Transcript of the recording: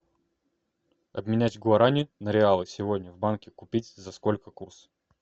обменять гуарани на реалы сегодня в банке купить за сколько курс